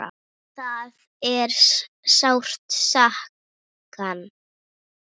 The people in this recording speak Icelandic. Það er sárt sakna.